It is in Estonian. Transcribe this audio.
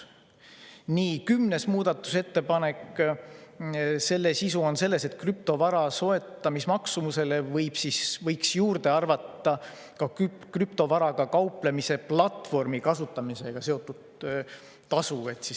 Kümnenda muudatusettepaneku sisu on selles, et krüptovara soetamismaksumusele võib juurde arvata ka krüptovaraga kauplemise platvormi kasutamisega seotud tasu.